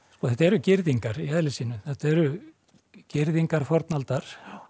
þetta eru girðingar í eðli sínu þetta eru girðingar fornaldar